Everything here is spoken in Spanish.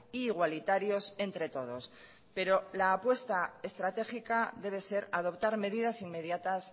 e igualitarios entre todos pero la apuesta estratégica debe ser adoptar medidas inmediatas